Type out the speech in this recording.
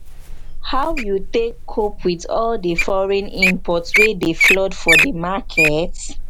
how you take cope with all di foreign imports wey dey flood for di market?